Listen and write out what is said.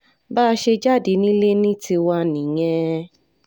bá a ṣe jáde nílé ní tiwa nìyẹn